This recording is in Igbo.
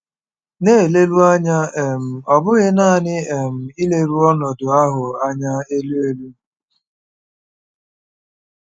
Na-eleru anya um, ọ bụghị nanị um ileru ọnọdụ ahụ anya elu elu.